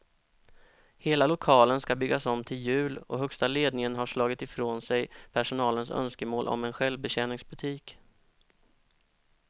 Hela lokalen ska byggas om till jul och högsta ledningen har slagit ifrån sig personalens önskemål om en självbetjäningsbutik.